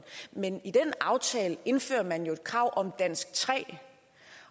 men i den aftale indfører man jo et krav om dansk tre